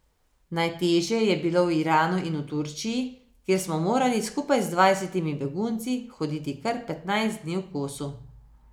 Najtežje je bilo v Iranu in v Turčiji, kjer smo morali skupaj z dvajsetimi begunci hoditi kar petnajst dni v kosu.